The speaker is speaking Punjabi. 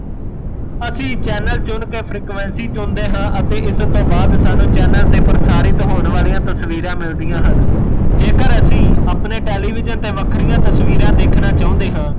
ਅਸੀਂ ਚੈੱਨਲ ਚੁਣਕੇ frequency ਚੁਣਦੇ ਹਾਂ ਅਤੇ ਇਸ ਤੋਂ ਬਾਦ ਸਾਂਨੂੰ ਚੈਨਲ ਤੇ ਪ੍ਰਸਾਰਿਤ ਹੋਣ ਵਾਲਿਆਂ ਤਸਵੀਰਾਂ ਮਿਲਦੀਆਂ ਹਨ ਜੇਕਰ ਅਸੀਂ ਆਪਣੇ television ਤੇ ਵਖਰੀਆਂ ਤਸਵੀਰਾਂ ਦੇਖਣਾ ਚਾਉਂਦੇ ਹਾਂ